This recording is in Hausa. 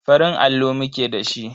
Farin allo muke da shi.